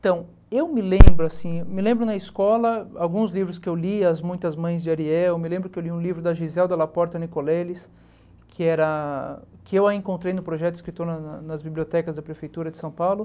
Então, eu me lembro, assim, me lembro na escola, alguns livros que eu li, As Muitas Mães de Ariel, me lembro que eu li um livro da Giselda Laporta Nicoleles, que era que eu a encontrei no projeto escritor nas nas bibliotecas da prefeitura de São Paulo.